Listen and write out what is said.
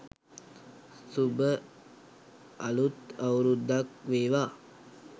suba aluth awuruddak wewa